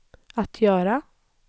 att göra